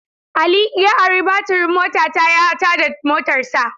Ali ya ari batirin motata ya tada motarsa.